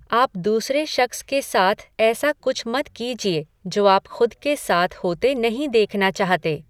आप दूसरे शख्स के साथ ऐसा कुछ मत कीजिए जो आप खुद के साथ होते नहीं देखना चाहते।